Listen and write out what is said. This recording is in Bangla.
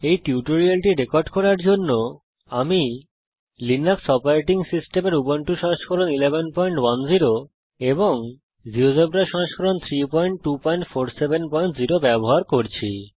এই টিউটোরিয়ালটি রেকর্ড করার জন্যে আমি লিনাক্স অপারেটিং সিস্টেমের উবুন্টু সংস্করণ 1110 জীয়োজেব্রা সংস্করণ 32470 ব্যবহার করছি